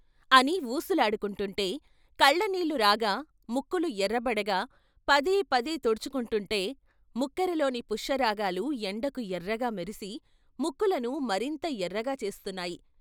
అని వూసులాడుకుంటుంటే కళ్ళ నీళ్ళు రాగా ముక్కులు ఎర్రబడగా, పదే పదే తుడుచుకుంటుంటే, ముక్కరలోని పుష్యరాగాలు ఎండకు ఎర్రగా మెరిసి ముక్కులను మరింత ఎర్రగా చేస్తున్నాయి.